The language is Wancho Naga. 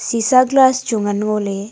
chisa glass chu ngan ngoley.